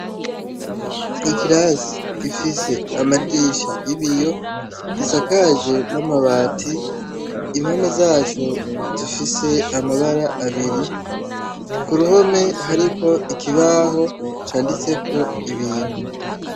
Ikirasi gifise amadirisha y'ibiyo, gisakaje n'amabati, ibihome vyaco bifise amabara abiri. kuruhome hariko ikibaho caditseko ibintu.